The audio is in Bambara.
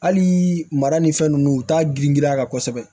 Hali mara ni fɛn nunnu u t'a girin a kan kosɛbɛ